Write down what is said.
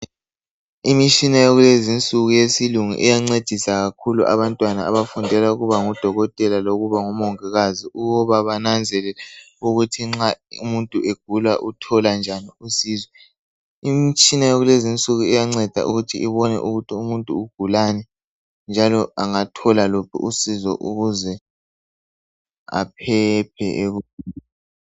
Imitshina yakulezinsuku yesilungu iyancedisa kakhulu abantwana abafunda ukuba ngodokotela lokuba ngabongikazi, ukubanananzelele ukuthi nxa umuntu egula uthola njani usizo, imitshina yakulezinsuku iyanceda ukuthi ibone ukuthi umuntu ugulani njalo angathola luphi usizo ukuze aphephe.